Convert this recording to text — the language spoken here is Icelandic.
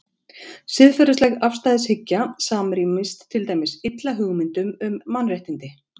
Siðferðileg afstæðishyggja samrýmist til dæmis illa hugmyndum um mannréttindi.